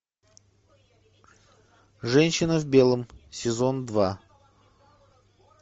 женщина в белом сезон два